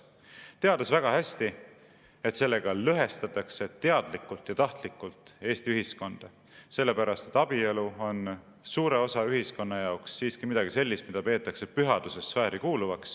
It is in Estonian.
Seejuures teati väga hästi, et sellega lõhestatakse teadlikult ja tahtlikult Eesti ühiskonda, sellepärast et abielu on suure osa ühiskonna jaoks siiski midagi sellist, mida peetakse pühaduse sfääri kuuluvaks.